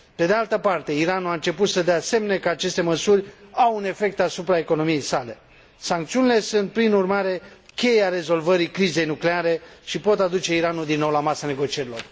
Pe de altă parte, Iranul a început să dea semne că aceste măsuri au un efect asupra economiei sale. Sancțiunile sunt prin urmare cheia rezolvării crizei nucleare și pot aduce Iranul din nou la masa negocierilor.